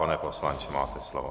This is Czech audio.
Pane poslanče, máte slovo.